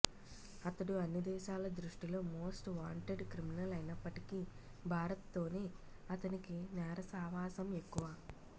అతడు అన్ని దేశాల దృష్టిలో మోస్ట్ వాంటెడ్ క్రిమినలైనప్పటికీ భారత్ తోనే అతనికి నేర సావాసం ఎక్కువ